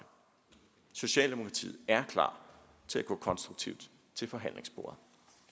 socialdemokratiet er klar til at gå konstruktivt til forhandlingsbordet